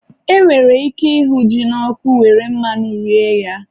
E nwere ike ịhụ ji n'ọkụ were mmanụ rie ya